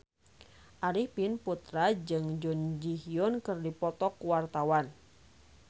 Arifin Putra jeung Jun Ji Hyun keur dipoto ku wartawan